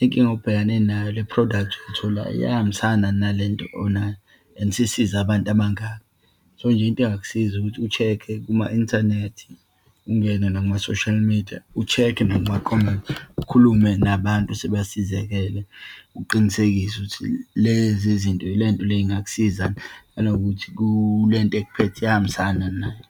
inkinga obhekane nayo, le-product oyithilayo iyahambisana nalento onayo and isisize abantu abangaki. So nje, into engakusiza ukuthi u-check-e kuma-inthanethi, ungene nakuma-social media, u-check-e nakuma-comments, ukhulume nabantu esebasizakele, uqinisekise ukuthi lezi zinto, lento le ingakusiza, nanokuthi kule nto ekuphethe iyahambisana yini nayo.